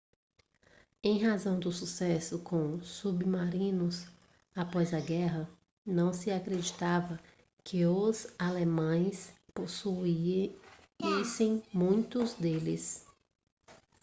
em razão do sucesso com submarinos após a guerra não se acreditava que os alemães possuíssem muitos deles